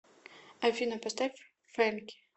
афина поставь фэнки